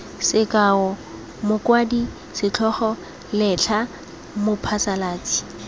sekao mokwadi setlhogo letlha mophasalatsi